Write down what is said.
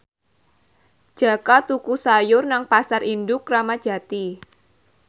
Jaka tuku sayur nang Pasar Induk Kramat Jati